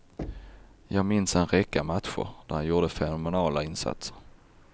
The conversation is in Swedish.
Jag minns en räcka matcher, då han gjorde fenomenala insatser.